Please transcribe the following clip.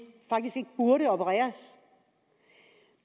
burde opereres